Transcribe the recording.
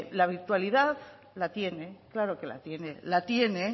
la virtualidad la tiene claro que la tiene la tiene